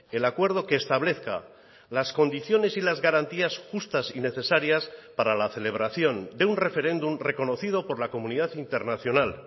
el acuerdo que establezca las condiciones y las garantías justas y necesarias para la celebración de un referéndum reconocido por la comunidad internacional